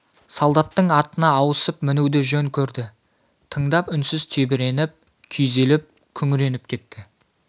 солдаттың атына ауысып мінуді жөн көрді тыңдап үнсіз тебіреніп күйзеліп күңіреніп кетті